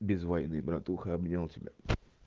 без войны братуха обнял тебя